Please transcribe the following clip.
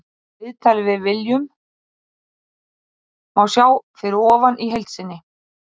Viðtalið við Willum má sjá fyrir ofan í heild sinni.